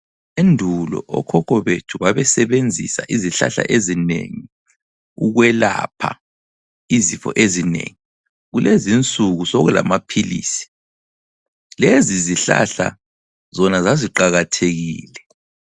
Endulo okhokho bethi babesebenzisa izihlahla ezinengi ukwelapha izifo ezinengi. Kulezinsuku sokulamaphilisi. Lezizihlahla zona zaziqakathekile.